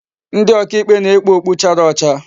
Ndi oka ikpe na-ekpu okpu chara ocha.